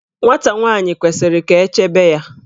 Nwata nwaanyi kwesiri ka echebe ya.